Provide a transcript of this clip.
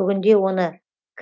бүгінде оның